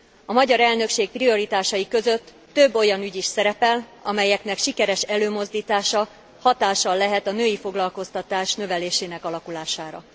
A magyar elnökség prioritásai között több olyan ügy is szerepel, amelyeknek sikeres előmozdítása hatással lehet a női foglalkoztatás növelésének alakulására.